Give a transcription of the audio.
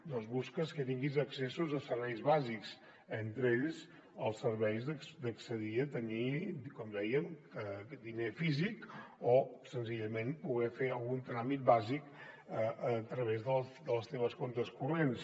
doncs busques que tinguis accessos a serveis bàsics entre ells els serveis d’accedir a tenir com dèiem diner físic o senzillament poder fer algun tràmit bàsic a través dels teus comptes corrents